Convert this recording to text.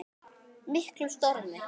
miklum stormi.